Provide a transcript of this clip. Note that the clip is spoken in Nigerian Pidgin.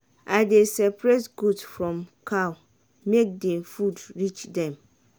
i dey separate goat food from cow make de food reach dem.